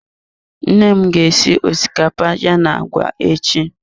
Nne m ga esi osikapa ya na agwa echi.